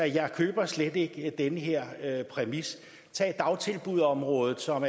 jeg køber slet ikke den her her præmis tag dagtilbudsområdet som